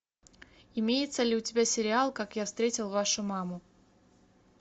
имеется ли у тебя сериал как я встретил вашу маму